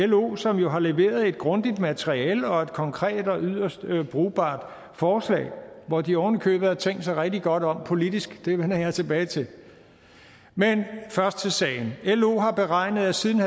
lo som har leveret et grundigt materiale og et konkret og yderst brugbart forslag hvor de oven i købet har tænkt sig rigtig godt om politisk det vender jeg tilbage til men først til sagen lo har beregnet at siden